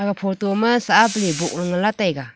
ga photo ma sahabley boh la ngan la taiga.